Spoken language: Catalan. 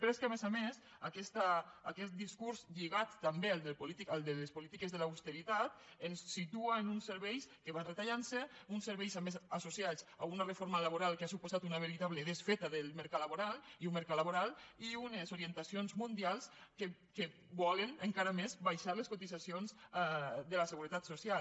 però és que a més a més aquest discurs lligat també al de les polítiques de l’austeritat ens situa en uns serveis que van retallant se uns serveis a més associats a una reforma laboral que ha suposat una veritable desfeta del mercat laboral i un mercat laboral i unes orientacions mundials que volen encara més baixar les cotitzacions de la seguretat social